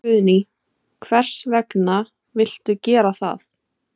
Guðný: Hvers vegna viltu gera það?